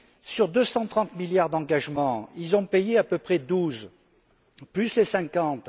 Sur 230 milliards d'engagements, ils en ont payé à peu près douze, plus les cinquante.